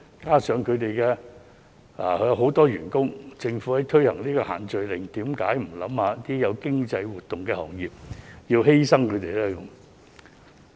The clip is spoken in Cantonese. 這些行業有很多員工，政府在推行限聚令時，有否考慮一下這些是有經濟活動的行業，為何要犧牲他們呢？